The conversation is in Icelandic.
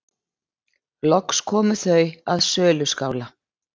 Loks komu þau að söluskála.